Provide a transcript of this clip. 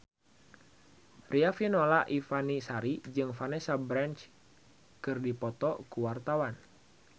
Riafinola Ifani Sari jeung Vanessa Branch keur dipoto ku wartawan